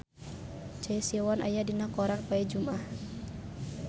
Choi Siwon aya dina koran poe Jumaah